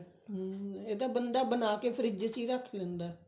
ਹਮ ਇਹ ਤਾਂ ਬੰਦਾ ਬਣਾ ਕੇ ਫ੍ਰਿਜ ਚ ਹੀ ਰੱਖ ਲੈਂਦਾ